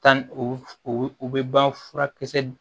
Tan u u bɛ ban furakisɛ d